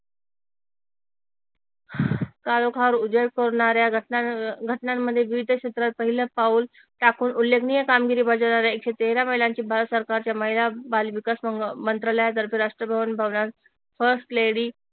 काळोखावर उजेड तोडणाऱ्या घटनांमध्ये विविध क्षेत्रात पहिल पाऊल टाकून उल्लेखनीय कामगिरी बजावणाऱ्या एकशे तेरा महिलांची भारत सरकारच्या महिला बालविकास मंत्रालयातर्फे राष्ट्रभवनात फर्स्ट लेडी